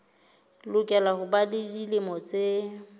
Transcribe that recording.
lokela ho ba dilemo tse